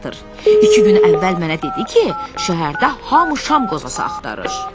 İki gün əvvəl mənə dedi ki, şəhərdə hamı şam qozası axtarır.